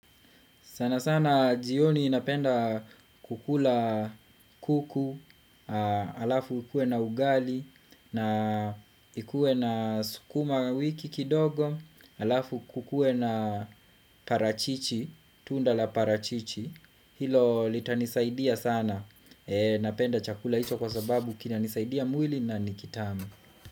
Sana sana jioni napenda kukula kuku. Alafu kue na ugali, na kukue na sukumawiki kidogo. Alafu kukue na parachichi, tunda la parachichi. Hilo litanisaidia sana. Napenda chakula hicho kwa sababu kinanisaidia mwili na ni kitamu.